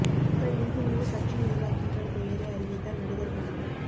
மக்கள் நீதி மய்ய கட்சி நிர்வாகிகள் பெயரை அறிவித்தார் நடிகர் கமல்